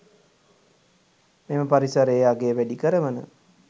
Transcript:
මෙම පරිසරයේ අගය වැඩි කරවන